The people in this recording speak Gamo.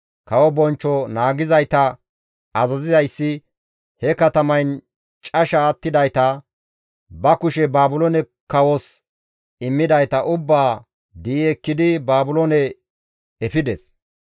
Kawo bonchcho naagizayta azazizayssi he katamayn casha attidayta, ba kushe Baabiloone kawos immidayta ubbaa di7i ekkidi Baabiloone efides.